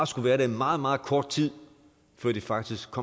skulle være der i meget meget kort tid før de faktisk